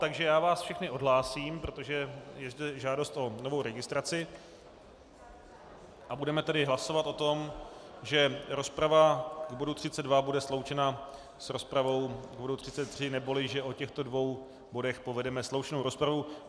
Takže já vás všechny odhlásím, protože je zde žádost o novou registraci, a budeme tedy hlasovat o tom, že rozprava k bodu 32 bude sloučena s rozpravou k bodu 33, neboli že o těchto dvou bodech povedeme společnou rozpravu.